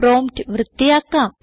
prompt വൃത്തിയാക്കാം